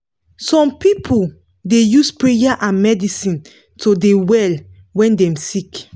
some pipu da use prayer and medicine to de well wen dem sik